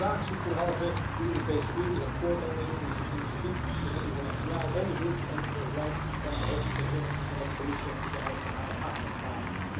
Graag zie ik derhalve de Europese Unie het voortouw nemen in een initiatief tot een internationaal onderzoek en ik begrijp van de hoge vertegenwoordiger en de Commissie dat zij daar ook van harte achter staan.